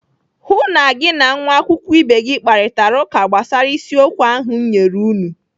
Hụụ na gị na nwa akwụkwọ ibe gị kparita ụka gbasara isiokwu a ahụ m nyere unu!